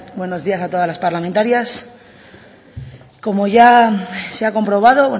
buenos días a todas las parlamentarias como ya se ha comprobado